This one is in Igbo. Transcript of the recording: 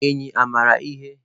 Enyí mara ihe?